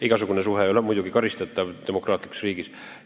Igasugune suhe ei ole muidugi demokraatlikus riigis karistatav.